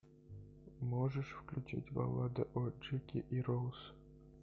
можешь включить баллада о джеке и роуз